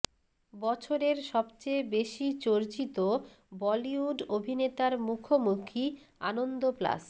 বছরের সবচেয়ে বেশি চর্চিত বলিউড অভিনেতার মুখোমুখি আনন্দ প্লাস